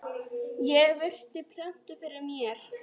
Ég virti plötuna fyrir mér.